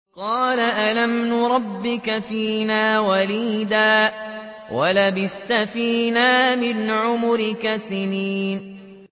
قَالَ أَلَمْ نُرَبِّكَ فِينَا وَلِيدًا وَلَبِثْتَ فِينَا مِنْ عُمُرِكَ سِنِينَ